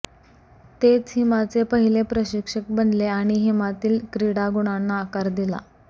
तेच हिमाचे पहिले प्रशिक्षक बनले आणि हिमातील क्रीडा गुणांना आकार दिला